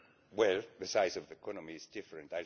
Well, the size of the economy is different.